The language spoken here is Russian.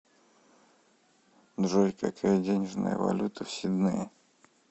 джой какая денежная валюта в сиднее